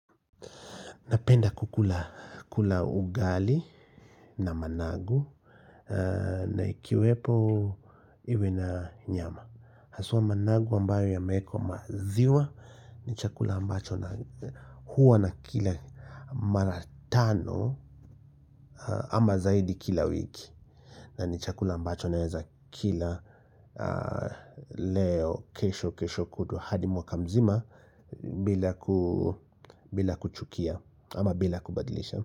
Napenda kukula ugali na managu na ikiwepo iwe na nyama. Haswa managu ambayo imeekwa maziwa ni chakula ambacho na huwa na kila mara tano ama zaidi kila wiki. Na ni chakula ambacho naeza kila leo kesho kesho kutwa hadi mwaka mzima bila kuchukia ama bila kubadilisha.